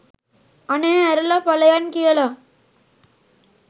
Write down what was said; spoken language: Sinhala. අනේ ඇරල පලයන් කියල